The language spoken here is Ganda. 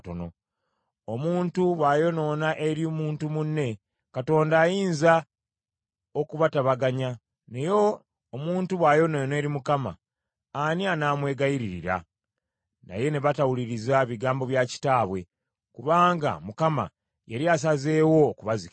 Omuntu bw’ayonoona eri muntu munne, Katonda ayinza okubatabaganya, naye omuntu bw’ayonoona eri Mukama , ani anaamwegayiririra?” Naye ne batawuliriza bigambo bya kitaabwe, kubanga Mukama yali asazeewo okubazikiriza.